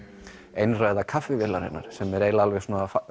einræða sem er alveg